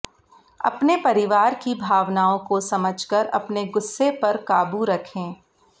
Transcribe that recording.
अपने परिवार की भावनाओं को समझकर अपने ग़ुस्से पर क़ाबू रखें